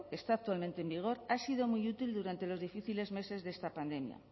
que está actualmente en vigor ha sido muy útil durante los difíciles meses de esta pandemia